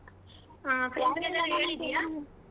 ಆಹ್ ಹೇಳಿದ್ದೀಯಾ?